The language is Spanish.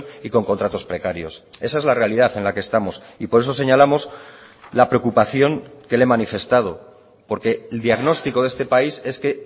y con contratos precarios esa es la realidad en la que estamos y por eso señalamos la preocupación que le he manifestado porque el diagnóstico de este país es que